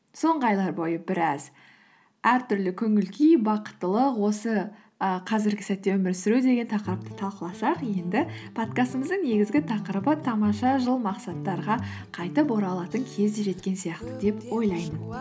соңғы айлар бойы біраз әртүрлі көңіл күй бақыттылық осы і қазіргі сәтте өмір сүру деген тақырыпты талқыласақ енді подкастымыздың негізгі тақырыбы тамаша жыл мақсаттарға қайтып оралатын кез де жеткен сияқты деп ойлаймын